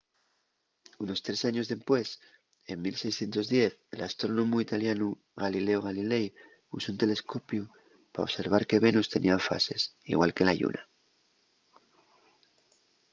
unos tres años dempués en 1610 l’astrónomu italianu galileo galilei usó un telescopiu pa observar que venus tenía fases igual que la lluna